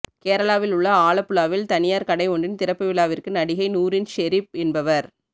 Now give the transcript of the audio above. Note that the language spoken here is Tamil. கேரளாவில் உள்ள ஆலப்புழாவில் தனியார் கடை ஒன்றின் திறப்பு விழாவிற்கு நடிகை நூரின் ஷெரீப் என்பவர்